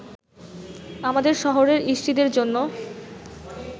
আমাদের শহরের ইষ্টিদের জন্য